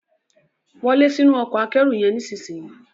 Wo lẹ sínú Ọkọ̀ akẹ́rù yen nísìsiyìí!